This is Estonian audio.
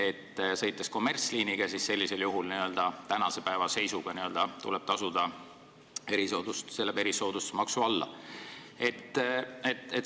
Kui sõita kommertsliiniga, siis sellisel juhul tuleb n-ö tänase päeva seisuga tasuda erisoodustusmaksu, see läheb erisoodustusmaksu alla.